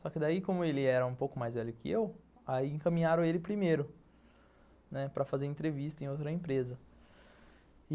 Só que daí, como ele era um pouco mais velho que eu, aí encaminharam ele primeiro, né, para fazer entrevista em outra empresa.